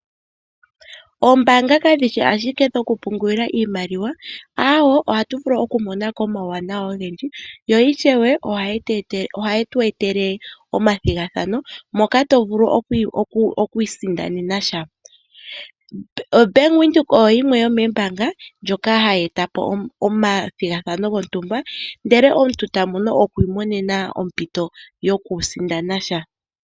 Ombanga kadhishi ashikedhoku pungula iimaliwa awo ohatu vulu oku monako omawuwanawa ogendji. Yo ishewe ohayi tu etele omathigathano moka to vulu okwiisindanena sha, oBank Windhoek oyo yimwe yomombanga ndjoka hayi etapo omathigathano gontumba ndele omuntu tavulu okwiimonena ompito yokwiisindana sha.